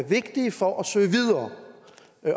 vigtige for at søge videre